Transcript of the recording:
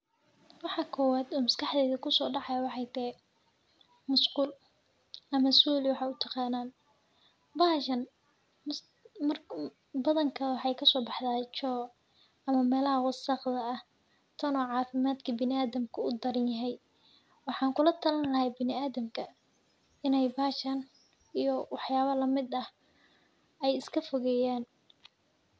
Waxa kowad oo maskaxdeyda kusodacayo waxa texee, musqul ama sulii waxat utaqanan, baxashan badanka waxay lasobaxda choo, ama melaha wasaqda ah, tona cafimadka biniadamka u udaranyaxay, waxan kulatalin laxay biniadamka, inay bahashan iyo waxyala lamid ah, ay iskafogeyan.